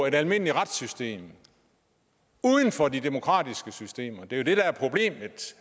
et almindeligt retssystem uden for de demokratiske systemer det